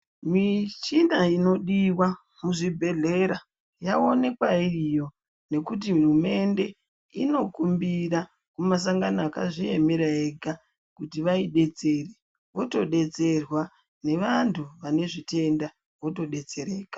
Michina inodiwa muzvibhedhlera yaonekwa iriyo ngekuti hurumende inokumbira mumasangano akazviemera ega kuti vaidetsere votodetserwa nevantu vane zvitenda votodetsereka.